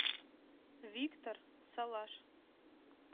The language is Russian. виктор салаш